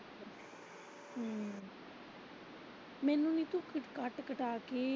ਮੈਨੂੰ ਮਿਲਦਾ ਕੱਟ ਕਟਾ ਕੇ।